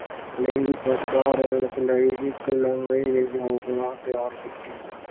ਲਈ ਲਈ ਇੱਕ ਲੰਮੀ ਯੋਜਨਾ ਤਿਆਰ ਕੀਤੀ।